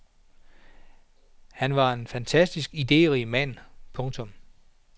Han var en fantastisk iderig mand. punktum